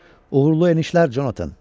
Uğurlu enişlər Jonathan!